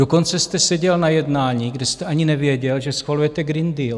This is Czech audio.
Dokonce jste seděl na jednání, kde jste ani nevěděl, že schvalujete Green Deal.